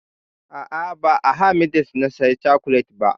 A'a, ba a h-medix na saya cokolet ba.